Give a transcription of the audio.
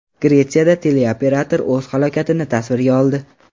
Gretsiyada teleoperator o‘z halokatini tasvirga oldi.